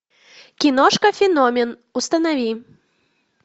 киношка феномен установи